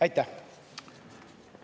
Aitäh!